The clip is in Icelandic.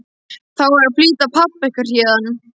Það á að flytja pabba ykkar héðan.